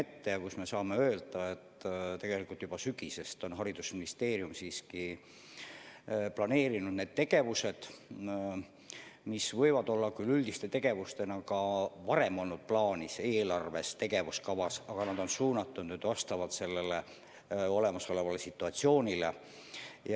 Tegelikult saame öelda, et juba sügisest peale on haridusministeerium planeerinud tegevusi, mis võivad küll olla üldiste tegevustena ka varem olnud eelarves ja tegevuskavas, aga neid on suunatud vastavalt olemasolevale situatsioonile.